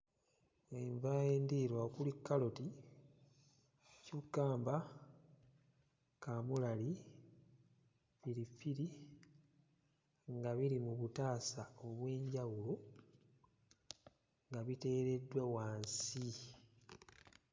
Enva endiirwa okuli kkaloti, kyukkamba, kaamulali, piripiri nga biri mu butaasa obw'enjawulo nga biteereddwa wansi.